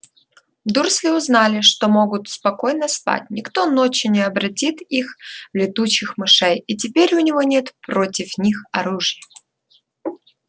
дурсли узнали что могут спокойно спать никто ночью не обратит их в летучих мышей и теперь у него нет против них оружия